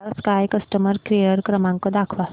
Tata Sky customer care क्रमांक दाखवा